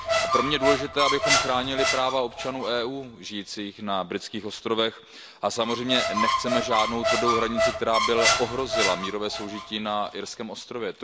Pro mě je důležité, abychom chránili práva občanů EU žijících na britských ostrovech, a samozřejmě nechceme žádnou tvrdou hranici, která by ohrozila mírové soužití na irském ostrově.